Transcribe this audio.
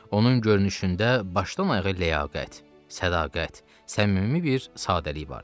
Onun görünüşündə başdan ayağa ləyaqət, sədaqət, səmimi bir sadəlik vardı.